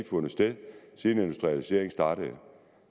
fundet sted siden industrialiseringen startede